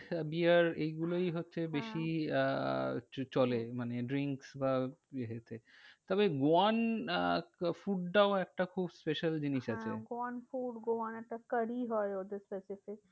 Beer এইগুলোই হচ্ছে হ্যাঁ বেশি আহ চলে মানে drink বা ইয়েতে। তবে goan আহ food টাও একটা খুব special জিনিস আছে। হ্যাঁ goan food goan একটা curry হয় ওদের